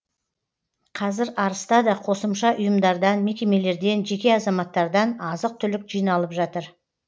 қазір арыста да қосымша ұйымдардан мекемелерден жеке азаматтардан азық түлік жиналып жатыр